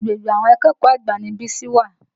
Agbègbè àwọn akẹ́kọ̀ọ́ àgbà ni Bísí wà.